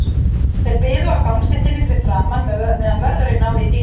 Þeir biðu á gangstéttinni fyrir framan, meðan vörðurinn náði í bílinn.